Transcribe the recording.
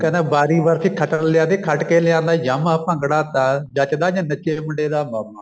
ਕਹਿੰਦਾ ਬਾਰੀ ਬਰਸੀ ਖੱਟਣ ਗਿਆਸੀ ਖੱਟ ਕੇ ਲਿਆਂਦਾ ਯਾਮਾ ਭੰਗੜਾ ਤਾਂ ਜੱਚਦਾ ਜੇ ਨੱਚੇ ਮੁੰਡੇ ਦਾ ਮਾਮਾ